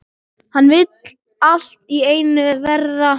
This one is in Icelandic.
Hann vill allt í einu verða